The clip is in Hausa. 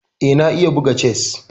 Eh, na iya buga chess.